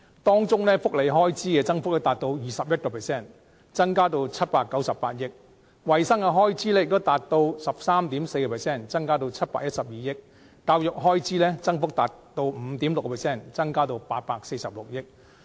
當中，福利開支增幅達 21%， 增加至798億元；衞生開支的增幅亦達 13.4%， 增加至712億元；教育開支的增幅達 5.6%， 增加至846億元。